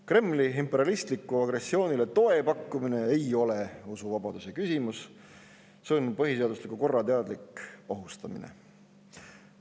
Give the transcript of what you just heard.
Kremli imperialistlikule agressioonile toe pakkumine ei ole usuvabaduse küsimus, see on põhiseadusliku korra teadlik ohustamine.